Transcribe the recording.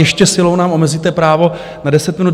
Ještě silou nám omezíte právo na deset minut.